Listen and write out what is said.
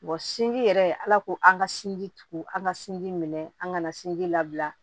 sinji yɛrɛ ala ko an ka sinji tugu an ka sinji minɛ an kana sinji labila